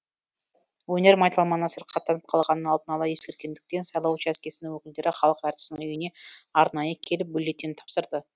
өнер майталманы сырқаттанып қалғанын алдын ала ескерткендіктен сайлау учаскесінің өкілдері халық әртісінің үйіне арнайы келіп бюллетень тапсырды